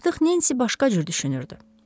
Artıq Nensi başqa cür düşünürdü.